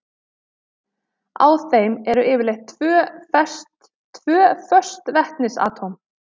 Á þeim eru yfirleitt tvö föst vetnisatóm.